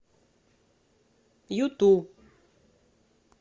юту